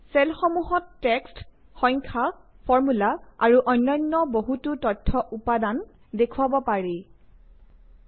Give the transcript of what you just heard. চেলসমূহত text সংখ্যা formula আৰু অন্যান্য বহুতো তথ্য উপাদান দৃশ্যায়ন আৰু ব্যৱহাৰৰ বাবে মজুত থাকে